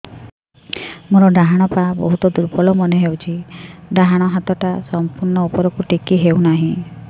ମୋର ଡାହାଣ ପାଖ ବହୁତ ଦୁର୍ବଳ ମନେ ହେଉଛି ଡାହାଣ ହାତଟା ସମ୍ପୂର୍ଣ ଉପରକୁ ଟେକି ହେଉନାହିଁ